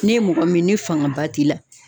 N'e mɔgɔ min, ni fangaba t'i la